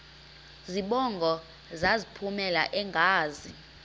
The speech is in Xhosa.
zibongo zazlphllmela engazi